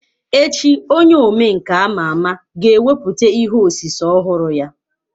Echi onye omenka ama ama ga-ewepụta ihe osise ọhụrụ ya.